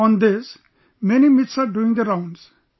On this, many myths are doing the rounds